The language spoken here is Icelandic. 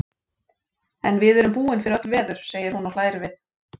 En við erum búin fyrir öll veður, segir hún og hlær við.